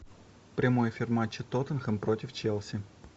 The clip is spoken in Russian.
прямой эфир матча тоттенхэм против челси